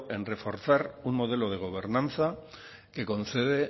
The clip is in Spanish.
en reforzar un modelo de gobernanza que concede